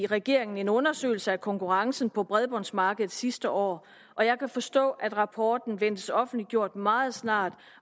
regeringen en undersøgelse af konkurrencen på bredbåndsmarkedet sidste år og jeg kan forstå at rapporten ventes offentliggjort meget snart